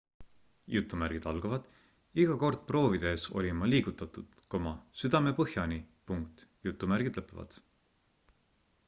iga kord proovi tehes olin ma liigutatud südamepõhjani